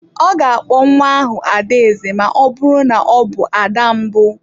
Ọ ga-akpọ nwa ahụ Adaeze ma ọ bụrụ na ọ bụ ada mbụ.